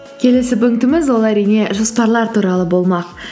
келесі пунктіміз ол әрине жоспарлар туралы болмақ